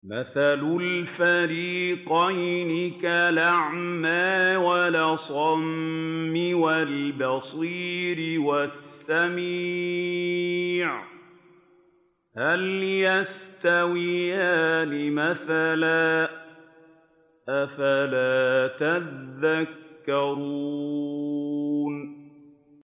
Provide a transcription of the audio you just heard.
۞ مَثَلُ الْفَرِيقَيْنِ كَالْأَعْمَىٰ وَالْأَصَمِّ وَالْبَصِيرِ وَالسَّمِيعِ ۚ هَلْ يَسْتَوِيَانِ مَثَلًا ۚ أَفَلَا تَذَكَّرُونَ